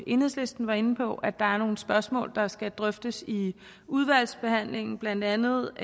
enhedslisten var inde på at der er nogle spørgsmål der skal drøftes i udvalgsbehandlingen blandt andet